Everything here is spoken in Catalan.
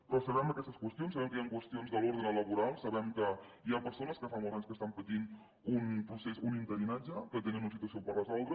però sabem aquestes qüestions sabem que hi han qüestions d’ordre laboral sabem que hi ha persones que fa molts anys que estan patint un interinatge que tenen una situació per resoldre